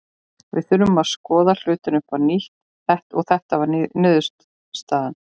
Við þurftum að skoða hlutina upp á nýtt og þetta var niðurstaðan.